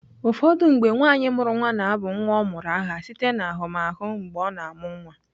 Ụfọdụ mgbe, nwaanyị mụrụ nwa na-abụ nwa ọ mụrụ aha site n'ahụmahụ mgbe ọ na-amụ nwa.